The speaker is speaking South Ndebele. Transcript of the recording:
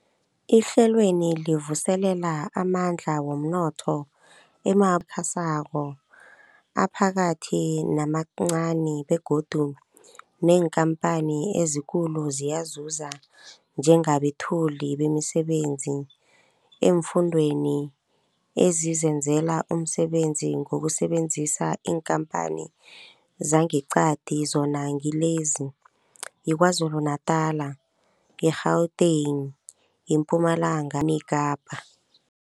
Ihlelweli livuselela amandla womnotho emabubulweni asakhasako, aphakathi namancani begodu neenkhamphani ezikulu ziyazuza njengabethuli bemisebenzi eemfundeni ezizenzela umsebenzi ngokusebenzisa iinkhamphani zangeqadi, zona ngilezi, yiKwaZulu Natala, i-Gauteng, iMpumalanga neKapa.